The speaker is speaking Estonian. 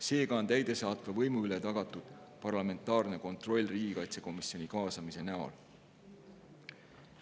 Seega on täidesaatva võimu üle tagatud parlamentaarne kontroll riigikaitsekomisjoni kaasamise näol.